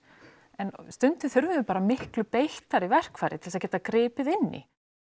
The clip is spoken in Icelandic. en stundum þurfum við bara miklu beittari verkfæri til að geta gripið inní